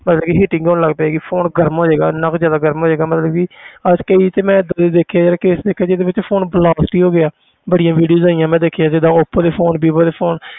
ਮਤਲਬ ਕਿ heating ਹੋਣ ਲੱਗ ਪਏਗੀ phone ਗਰਮ ਹੋ ਜਾਏਗਾ ਇੰਨਾ ਕੁ ਜ਼ਿਆਦਾ ਗਰਮ ਹੋ ਜਾਏਗਾ ਮਤਲਬ ਕਿ ਅੱਜ ਕਈ ਤੇ ਮੈਂ ਏਦਾਂ ਦੇ ਦੇਖੇ ਹੈ ਕਿ ਇੱਕ ਜਿਹਦੇ ਵਿੱਚ phone blast ਹੀ ਹੋ ਗਿਆ ਬੜੀਆਂ videos ਆਈਆਂ ਮੈਂ ਦੇਖਿਆ ਜਿੱਦਾਂ ਓਪੋ ਦੇ phone ਬੀਬੋ ਦੇ phone